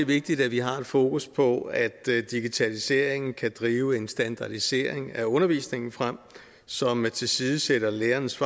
vigtigt at vi har fokus på at digitaliseringen kan drive en standardisering af undervisningen frem som tilsidesætter lærernes